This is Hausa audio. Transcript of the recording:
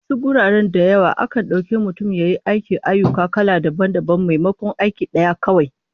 A wasu guraren da yawa, akan dauki mutum ya yi ayyuka kala dabam dabam maimakon aiki daya kawai